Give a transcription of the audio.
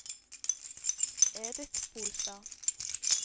Edith Bolstad